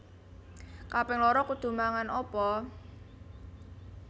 Kaping loro kudu mangan opo?